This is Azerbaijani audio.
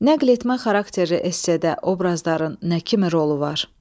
Nəql etmə xarakterli essedə obrazların nə kimi rolu var?